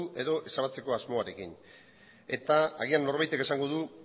edo ezabatzeko asmoarekin eta agian norbaitek esango du